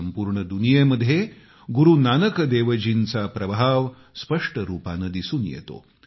संपूर्ण दुनियेमध्ये गुरू नानक देवजींचा प्रभाव स्पष्ट रूपानं दिसून येतो